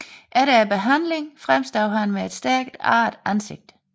Efter behandlingen fremstod han med et stærkt arret ansigt